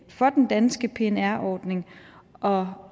for den danske pnr ordning og